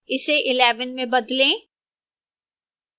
इसे 11 में बदलें